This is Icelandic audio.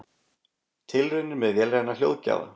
Tilraunir með vélræna hljóðgjafa